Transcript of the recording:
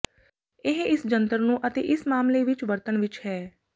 ਇਹ ਇਸ ਜੰਤਰ ਨੂੰ ਅਤੇ ਇਸ ਮਾਮਲੇ ਵਿੱਚ ਵਰਤਣ ਵਿੱਚ ਹੈ